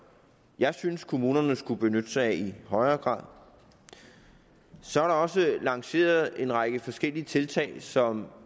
jeg synes kommunerne skulle benytte sig af i højere grad så er der også lanceret en række forskellige tiltag som